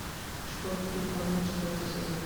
школьный переполох четвертый сезон